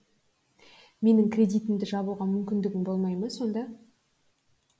менің кредитімді жабуға мүмкіндігің болмай ма сонда